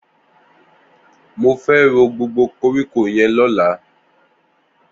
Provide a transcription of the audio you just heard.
Mó fè ró gbógbó kórikó yèn lọ̀lá